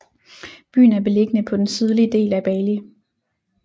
Byen er beliggende på den sydlige del af Bali